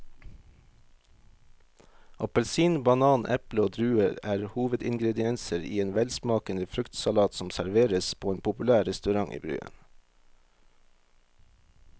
Appelsin, banan, eple og druer er hovedingredienser i en velsmakende fruktsalat som serveres på en populær restaurant i byen.